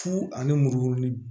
Fu ani muru ni